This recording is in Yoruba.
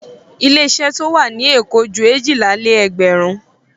Àwọn ilé-iṣẹ́ tó wà ní Èkó ju èjìlá-lé-ẹgbẹ̀rún.